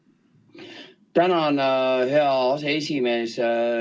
Tänan, hea aseesimees!